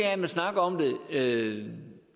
at man snakker om det